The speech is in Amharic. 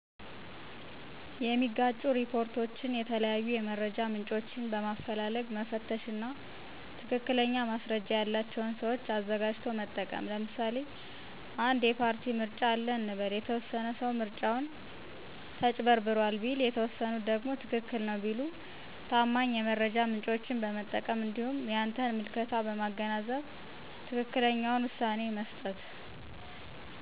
የሚጋጩ ሪፖርቶችን የተለያዩ የመረጃ ምንጮችን በማፈላለግ መፈተሽ እና ትክክለኛ ማስረጃ ያለቸውን ሰዎች አዘጋጅቶ መጠቀም ለምሳሌ አንድ የፓርቲ ምርጫ አለ እንበል፤ የተወሰነ ሰው ምርጫው ተጭበርብሯል ቢል የተወሰኑት ደግሞ ትክክል ነው ቢሉ ታማኝ የመረጃ ምንጮችን በመጠቀም እንዲሁም የአንተን ምልከታ በማገናዘብ ትክክለኛውን ውሳኔ መስጠት።